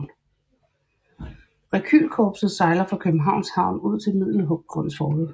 Rekylkorpset sejler fra Københavns Havn ud til Middelgrundsfortet